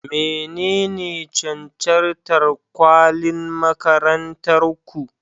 Menene cancantar kwalin makarantar ku?